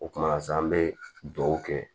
O kumana sisan an bɛ dugawu kɛ